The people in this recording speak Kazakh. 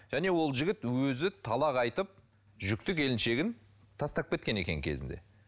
және ол жігіт өзі талақ айтып жүкті келіншегін тастап кеткен екен кезінде